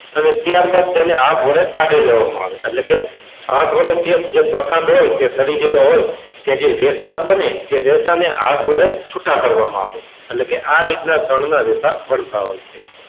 આવે ત્યારબાદ તેને હાથ વડે કાઢી લેવામાં આવે એટલે કે એટલે કે હાથ વડે જે પ્રકાર હોય તો સડી ગયેલું હોય એમાંથી જે રેસા બને ને રેસાને હાથ વડે છુટા પાડવામાં આવે એટલે કે આ રીતના શણના રેસા બનતા હોય છે.